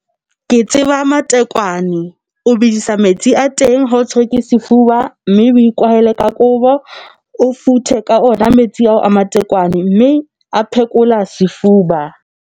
Ke tseba matekwane o bedisa metsi a teng ha o tshwere ke sefuba, mme o ikwahele ka kobo, o futhe ka ona metsi ao a matekwane mme a phekola sefuba.